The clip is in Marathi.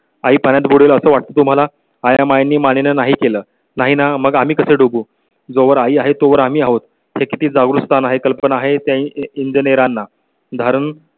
आई पाण्यात पुढील असं वाटतं तुम्हाला या मागणी मान्य नाही केलं नाही ना मग आम्ही कसं डोबू जोवर आहे तोवर आम्ही आहोत हे किती जागरूकता नाही कल्पना आहे त्या ही इंदिरांना.